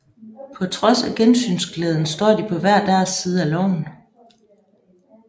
På trods af gensynsglæden står de på hver deres side af loven